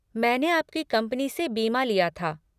मैंने आपकी कंपनी से बीमा लिया था।